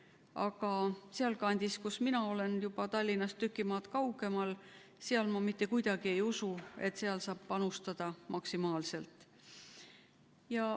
Aga sealkandis, kust mina olen, Tallinnast juba tüki maad kaugemal, ma mitte kuidagi ei usu, et saab panustada maksimaalselt.